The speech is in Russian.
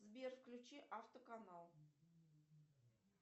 сбер включи авто канал